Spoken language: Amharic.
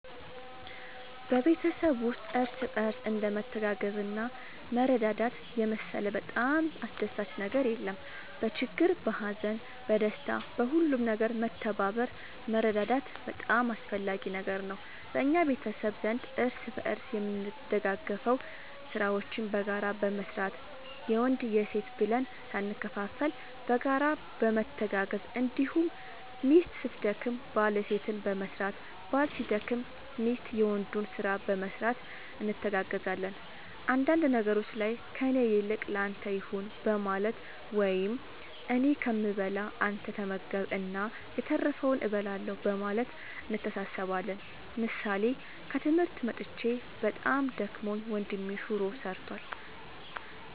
በቤተሰብ ውስጥ እርስ በርስ እንደ መተጋገዝና መረዳዳት የመሰለ በጣም አስደሳች ነገር የለም በችግር በሀዘን በደስታ በሁሉም ነገር መተባበር መረዳዳት በጣም አስፈላጊ ነገር ነው በእኛ ቤተሰብ ዘንድ እርስ በርስ የምንደጋገፈው ስራዎችን በጋራ በመስራት የወንድ የሴት ብለን ሳንከፋፈል በጋራ በመተጋገዝ እንዲሁም ሚስት ስትደክም ባል የሴትን በመስራት ባል ሲደክም ሚስት የወንዱን ስራ በመስራት እንተጋገዛለን አንዳንድ ነገሮች ላይ ከእኔ ይልቅ ለአንተ ይሁን በማለት ወይም እኔ ከምበላ አንተ ተመገብ እና የተረፈውን እበላለሁ በማለት እንተሳሰባለን ምሳሌ ከትምህርት መጥቼ በጣም ደክሞኝ ወንድሜ ሹሮ ሰርቷል።